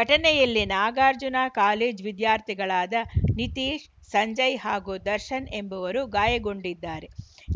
ಘಟನೆಯಲ್ಲಿ ನಾಗಾರ್ಜುನ ಕಾಲೇಜು ವಿದ್ಯಾರ್ಥಿಗಳಾದ ನಿತೀಶ್‌ ಸಂಜಯ್‌ ಹಾಗೂ ದರ್ಶನ್‌ ಎಂಬುವರು ಗಾಯಗೊಂಡಿದ್ದಾರೆ